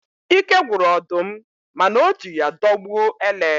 Ike gwụrụ ọdụm, mana o ji ya dọgbuo ele.